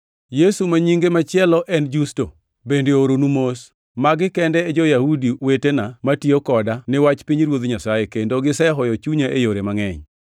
Yesu, ma nyinge machielo en Justo, bende ooronu mos. Magi kende e jo-Yahudi wetena matiyo koda ni wach pinyruoth Nyasaye, kendo gisehoyo chunya e yore mangʼeny.